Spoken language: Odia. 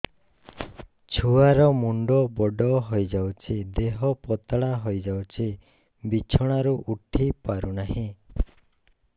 ଛୁଆ ର ମୁଣ୍ଡ ବଡ ହୋଇଯାଉଛି ଦେହ ପତଳା ହୋଇଯାଉଛି ବିଛଣାରୁ ଉଠି ପାରୁନାହିଁ